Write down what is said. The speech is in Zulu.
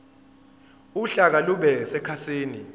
uhlaka lube sekhasini